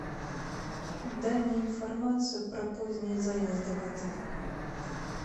дай мне информацию про поздние заезды в отель